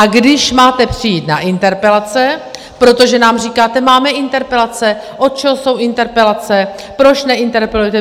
A když máte přijít na interpelace - protože nám říkáte: Máme interpelace, od čeho jsou interpelace, proč neinterpelujete?